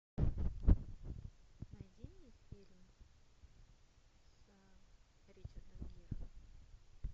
найди мне фильм с ричардом гиром